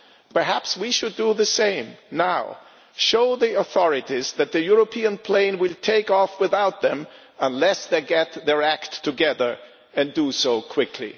Perhaps we should do the same now show the authorities that the European plane will take off without them unless they get their act together and do so quickly.